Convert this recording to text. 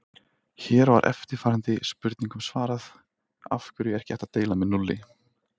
Hér var eftirfarandi spurningum svarað: Af hverju er ekki hægt að deila með núlli?